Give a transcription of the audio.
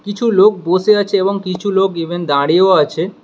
কিছু লোক বসে আছে এবং কিছু লোক ইভেন দাঁড়িয়েও আছে।